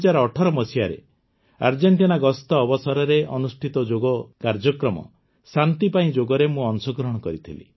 ୨୦୧୮ରେ Argentina ଗସ୍ତ ଅବସରରେ ଅନୁଷ୍ଠିତ ଯୋଗ କାର୍ଯ୍ୟକ୍ରମ ଶାନ୍ତି ପାଇଁ ଯୋଗରେ ମୁଁ ଅଂଶଗ୍ରହଣ କରିଥିଲି